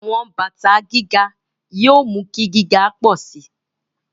Àwọn bàtà gíga yóò mú kí gíga pọ̀ sí i.